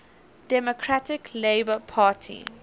democratic labour party